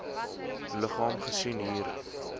liggaam gesien hier